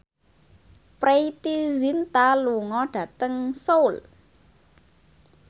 Preity Zinta lunga dhateng Seoul